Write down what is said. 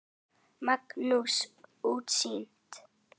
Magnað útsýni!